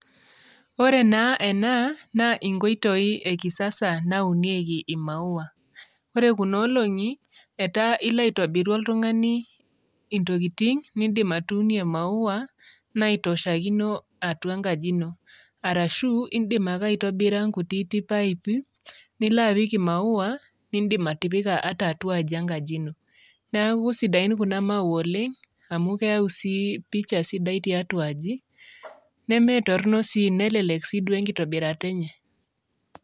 Ore naa ena inkoitoi ekiasasa naa unieki imaua. Ore kuna olongi etaa ilo aitobiru oltungani entokiting niidim atuunie imaua naitoshakino atua enkaji ino, arashu iidim ake aitobira enkutiti paipi nilo apik imaua niidim atua enkaji ino. Neeku sidain kuna maua oleng' amu keeku sii pisha sidai tiatua aji nemetorono sii nelelek sii duo enkitobirata enye.